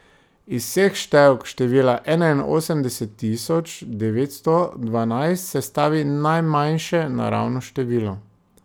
Iz vseh števk števila enainosemdeset tisoč devetsto dvanajst sestavi najmanjše naravno število.